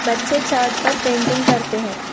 बच्चे चार्ट पर पेंटिंग करते हैं।